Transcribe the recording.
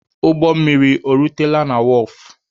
Ụgbọ mmiri o rutela na wọọfụ?